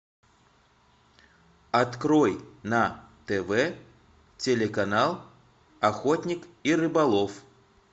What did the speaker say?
открой на тв телеканал охотник и рыболов